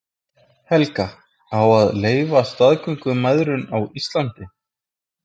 Helga: Á að leyfa staðgöngumæðrun á Íslandi?